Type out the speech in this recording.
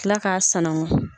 Kila k'a sanangɔ.